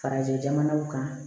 Farajɛ jamanaw kan